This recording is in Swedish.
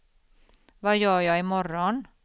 vad gör jag imorgon